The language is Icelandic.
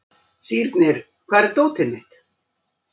Sírnir, hvar er dótið mitt?